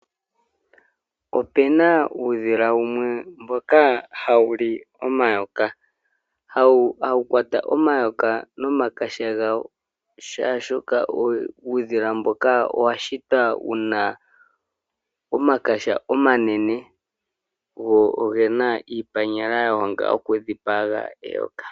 Opu na uudhila wumwe mboka hawu li omayoka, hawu kwata omayoka nomakaha gawo oshoka uudhila mboka owa shitwa wu na omakaha omanene oo oge na iipanyala ya honga okudhipaga eyoka.